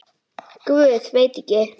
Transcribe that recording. Guð, veit ekki.